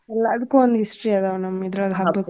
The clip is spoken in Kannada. ಎಲ್ಲಾದ್ಕು ಒಂದ್ history ಅದಾವ ನಮ್ ಇದ್ರೋಳಗ ಹಬ್ಬ.